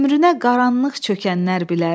Ömrünə qaranlıq çökənlər bilər.